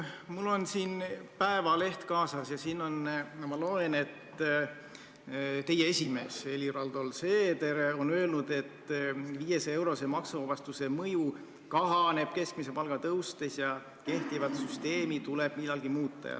Mul on Eesti Päevaleht kaasas ja siit ma loen, et teie esimees Helir-Valdor Seeder on öelnud, et 500-eurose maksuvabastuse mõju kahaneb keskmise palga tõustes ja kehtivat süsteemi tuleb millalgi muuta.